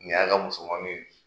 Nin y'a ka musomanin ye